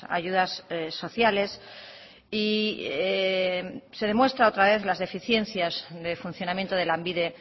ayudas sociales y se demuestra otra vez las deficiencias de funcionamiento de lanbide